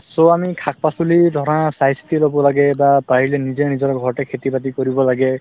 so, আমি শাক-পাচলি ধৰা চাইচিতি লব লাগে বা পাৰিলে নিজে নিজৰ ঘৰতে খেতি-বাতি কৰিব লাগে